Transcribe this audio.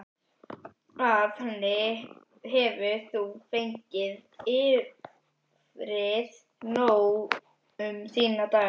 Af henni hefur þú fengið yfrið nóg um þína daga.